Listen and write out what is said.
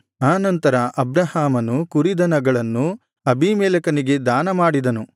ಆ ನಂತರ ಅಬ್ರಹಾಮನು ಕುರಿದನಗಳನ್ನು ಅಬೀಮೆಲೆಕನಿಗೆ ದಾನ ಮಾಡಿದನು